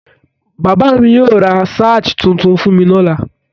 Bàbá mi yóò ra ṣáj tuntun fún mi lọ́la.